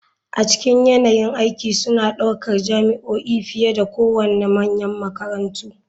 A cikin yanayin aiki suna ɗaukar jami'o'i fiye da kowane manyan makarantu.